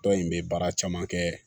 Tɔn in bɛ baara caman kɛ